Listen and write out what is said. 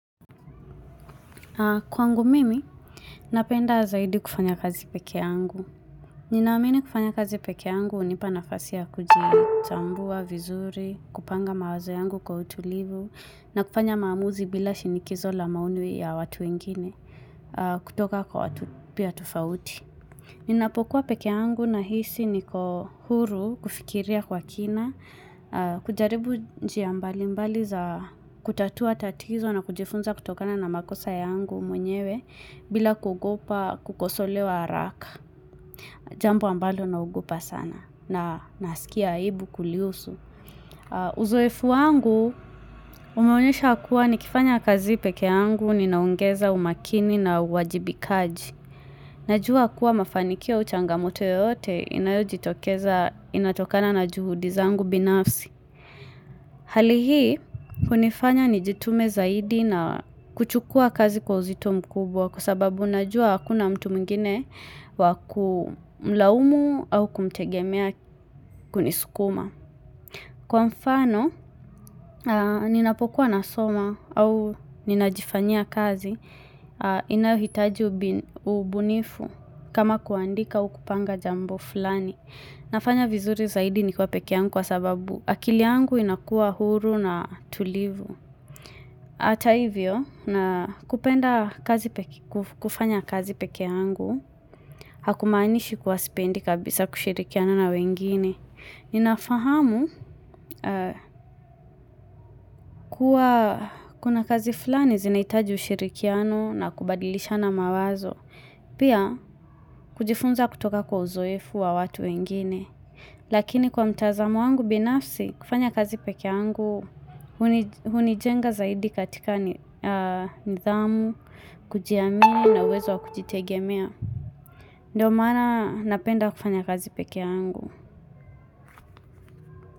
Kwangu mimi, napenda zaidi kufanya kazi pekee yangu. Ninaamini kufanya kazi peke yangu hunipa nafasi ya kujichambua vizuri, kupanga mawazo yangu kwa utulivu, na kufanya maamuzi bila shinikizo la maoni ya watu wengine kutoka kwa watu pia tufauti. Ninapokuwa pekee yangu nahisi niko huru kufikiria kwa kina, kujaribu njia mbalimbali za kutatua tatizo na kujifunza kutokana na makosa yangu mwenyewe bila kuogopa kukosolewa haraka Jambo ambalo naogopa sana na nasikia aibu kulihusu Uzoefu wangu umeonyesha kuwa nikifanya kazi pekee yangu ninaongeza umakini na uwajibikaji Najua kuwa mafanikio au changamoto yoyote inayojitokeza inatokana na juhudi zangu binafsi Hali hii hunifanya nijitume zaidi na kuchukuwa kazi kwa uzito mkubwa kwa sababu najua hakuna mtu mwingine wa kumlaumu au kumtegemea kunisukuma. Kwa mfano ninapokuwa nasoma au ninajifanyia kazi inayohitaji ubunifu kama kuandika au kupanga jambo fulani. Nafanya vizuri zaidi nikiwa pekea yangu kwa sababu akili yangu inakuwa huru na tulivu. Hata hivyo, kupenda kufanya kazi peke yangu, hakumaanishi kuwa sipendi kabisa kushirikiana na wengine. Ninafahamu kuwa kuna kazi fulani zinahitaji ushirikiano na kubadilishana mawazo. Pia, kujifunza kutoka kwa uzoefu wa watu wengine. Lakini kwa mtazamo wangu binafsi kufanya kazi peke yangu hunijenga zaidi katika nidhamu, kujiamini na uwezo wa kujitegemea Ndiyo maana napenda kufanya kazi peke yangu.